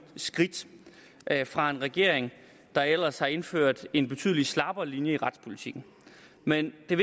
skridt fra en regering der ellers har indført en betydelig slappere linje i retspolitikken men det